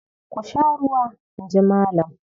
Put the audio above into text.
"Ku sha ruwa!" In ji Malam.